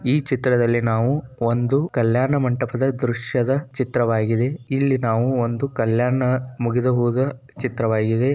ಈ ಚಿತ್ರದಲ್ಲಿ ನಾವು ಕಲ್ಯಾಣಮಂಟಪದ ದೃಶ್ಯದ ಚಿತ್ರವಾಗಿದೆ ಇಲ್ಲಿ ನಾವು ಒಂದು ಕಲ್ಯಾಣ ಮುಗಿದುಹೋದ ಚಿತ್ರವಾಗಿದೆ.